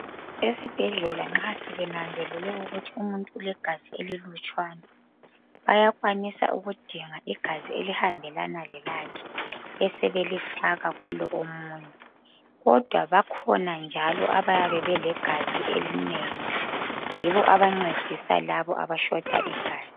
Esibhedlela nxa sebenanzelele ukuthi umuntu ulegazi elilutshwana bayakwanisa ukudinga igazi elihambelana lelakhe besebelifake kulo omunye kodwa bakhona njalo abayabe belegazi elinengi yibo ayancedisa labo abashota igazi.